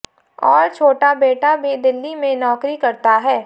और छोटा बेटा भी दिल्ली में नौकरी करता है